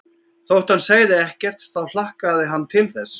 Þótt hann segði ekkert þá hlakkaði hann til þess.